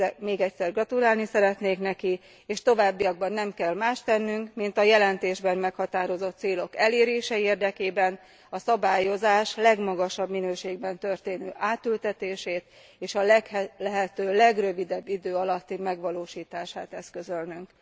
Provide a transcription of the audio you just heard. Még egyszer gratulálni szeretnék neki, és továbbiakban nem kell mást tennünk, mint a jelentésben meghatározott célok elérése érdekében a szabályozás legmagasabb minőségben történő átültetését, és a lehető legrövidebb idő alatti megvalósítását eszközölnünk.